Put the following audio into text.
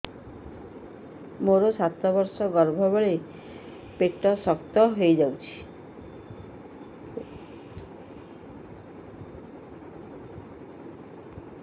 ମୋର ସାତ ମାସ ଗର୍ଭ ବେଳେ ବେଳେ ପେଟ ଶକ୍ତ ହେଇଯାଉଛି